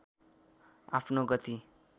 आफ्नो गति